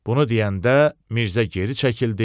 Bunu deyəndə Mirzə geri çəkildi.